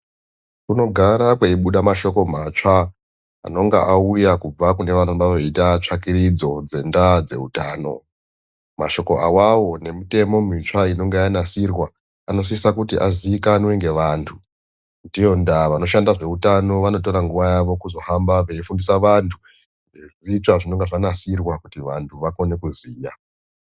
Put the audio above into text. Kunogara kweibuda mashoko matsva anonga aya kubva kune vanenge vaya veiite tsvakurudzo dzendaa dzeutano. Mashoko avavo nemitemo mutsva inenge yanasirwa anosisa kuti azikanwe ngevantu. Ndiyo ndaa vanoshanda zveutano vanotora nguva yavo kuzohamba veifundisa vantu zvezvitsva zvinenge zvanasirwa kuti vantu vakone kuziya.